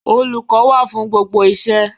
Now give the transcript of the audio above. Olùkọ́ wà fún gbigbo iṣẹ́.